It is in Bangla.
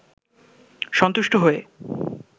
সন্তুষ্ট হয়ে